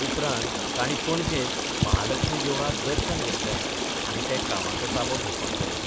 उपरांत तांणी पणजेंत महालक्ष्मी देवळांत दर्शन घेतलें आनी ते कामाचो ताबो घेवपाक गेले.